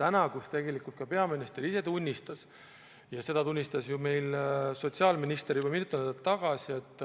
Täna tegelikult ka peaminister ise tunnistas ja seda tunnistas ju sotsiaalminister juba mitu nädalat tagasi, et